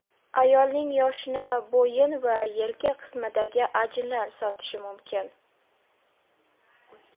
Ayolning yoshini bo‘yin va yelka qismidagi ajinlar sotishi mumkin.